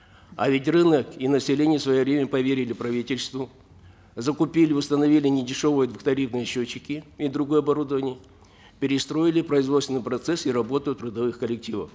а ведь рынок и население в свое время поверили правительству закупили установили недешевые двухтарифные счетчики и другое оборудование перестроили производственный процесс и работу трудовых коллективов